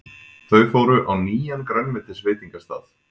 Þau fóru á nýjan grænmetisveitingastað.